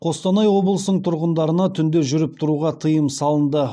қостанай облысының тұрғындарына түнде жүріп тұруға тыйым салынды